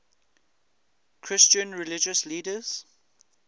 christian religious leaders